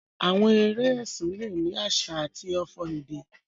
Àwọn eré ẹsìn le ni àsà àti ọfò èdè.